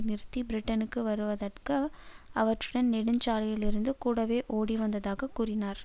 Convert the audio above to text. நிறுத்தி பிரிட்டனுக்கு வருவதற்கு அவற்றுடன் நெடுஞ்சாலையில் இருந்து கூடவே ஓடிவந்ததாக கூறினார்